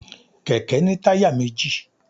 kẹkẹ ni tayá mejí